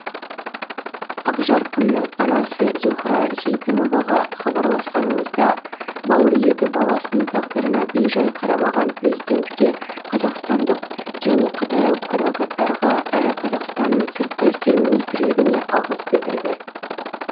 ақжарқынның анасы зухра сейтімоваға хабарласқанымызда бауыр еті баласының тағдырына бейжай қарамаған президентке қазақстандық және қытайлық адвокаттарға әрі қазақстанның сыртқы істер министрлігіне алғыс білдірді